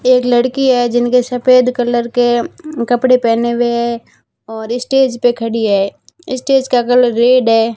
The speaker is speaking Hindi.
एक लड़की है जिनके सफेद कलर के म कपड़े पहने हुए और इस्टेज पे खड़ी है इस्टेज का कलर रेड है।